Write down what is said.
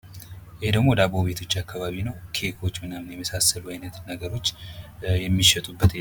ይህ ደግሞ ዳቦ ቤቶች አካባቢ ነው። ኬኮች ምናምን የመሳሰሉ አይነት ነገሮች የሚሸጡበት